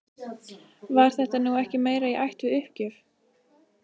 Var þetta nú ekki meira í ætt við uppgjöf?